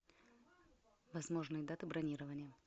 возможные даты бронирования